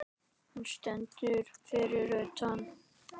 Hann stendur fyrir utan.